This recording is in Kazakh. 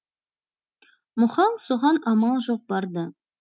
мұхаң соған амал жоқ барды